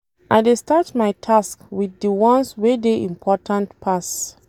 I dey start my tasks wit di ones wey dey important pass.